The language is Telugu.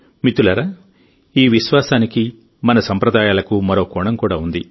మిత్రులారాఈ విశ్వాసానికి మన సంప్రదాయాలకు మరో కోణం కూడా ఉంది